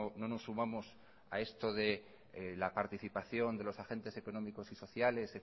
no nos sumamos a esto de la participación de los agentes económicos y sociales